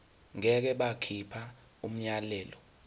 ngeke bakhipha umyalelo